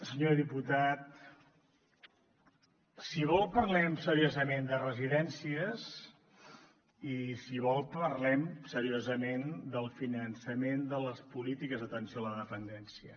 senyor diputat si vol parlem seriosament de residències i si vol parlem seriosament del finançament de les polítiques d’atenció a la dependència